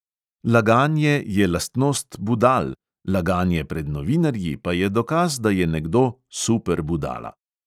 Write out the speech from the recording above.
Laganje je lastnost budal, laganje pred novinarji pa je dokaz, da je nekdo super budala.